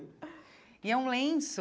E é um lenço